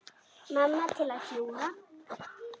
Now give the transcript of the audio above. Mamma til að hjúfra.